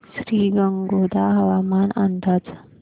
श्रीगोंदा हवामान अंदाज